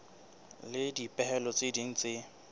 le dipehelo tse ding tse